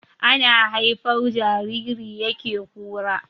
Ana haifar jariri yake kura